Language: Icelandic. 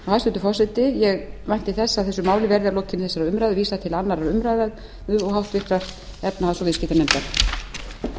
hæstvirtur forseti ég vænti þess að málinu verði að lokinni þessari umræðu vísað til annarrar umræðu og háttvirtrar efnahags og viðskiptanefndar